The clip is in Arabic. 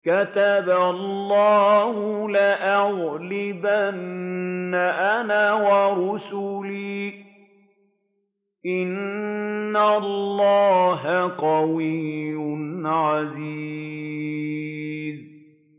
كَتَبَ اللَّهُ لَأَغْلِبَنَّ أَنَا وَرُسُلِي ۚ إِنَّ اللَّهَ قَوِيٌّ عَزِيزٌ